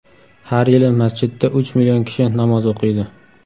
Har yili masjidda uch million kishi namoz o‘qiydi.